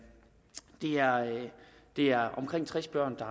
er omkring tres børn